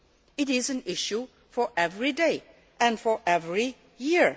It is an issue for every day and for every year.